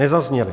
Nezazněly.